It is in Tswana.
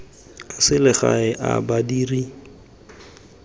a selegae a badiri fela